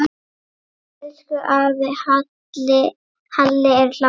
Elsku afi Halli er látinn.